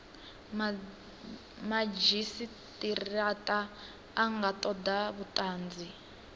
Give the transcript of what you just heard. madzhisitirata a nga toda vhutanzi